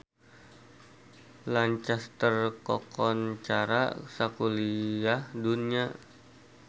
Lancaster kakoncara sakuliah dunya